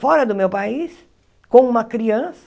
Fora do meu país, com uma criança,